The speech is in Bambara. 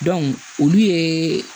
olu ye